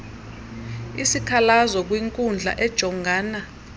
isikhalazo kwinkundla ejongana